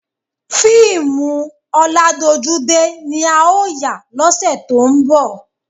Fíìmù ọládojúdé ni a ó yà lọ́sẹ̀ tó ń bọ̀